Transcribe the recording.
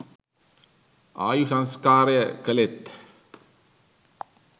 ආයුසංස්කාරය කළේත්